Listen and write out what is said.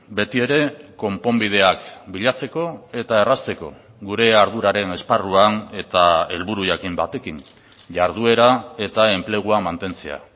betiere konponbideak bilatzeko eta errazteko gure arduraren esparruan eta helburu jakin batekin jarduera eta enplegua mantentzea